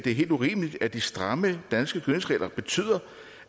det er helt urimeligt at de stramme danske gødningsregler betyder